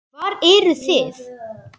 Hvar eruð þið?